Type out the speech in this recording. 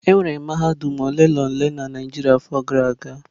Enwere mahadum ole na ole na Naijiria afọ gara aga.